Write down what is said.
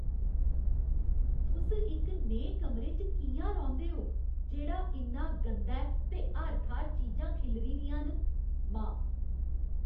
तुस इक नेहे कमरे च कि'यां रौंह्दे ओ जेह्ड़ा इन्ना गंदा ऐ ते हर थाह्‌र चीजां खिल्लरी दियां न? मां